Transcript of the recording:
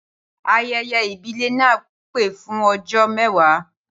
Ayẹyẹ ìbílẹ̀ náà pẹ́ fún ọjọ́ mẹwa